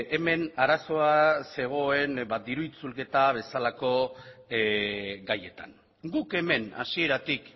hemen arazoa zegoen diru itzulketa bezalako gaietan guk hemen hasieratik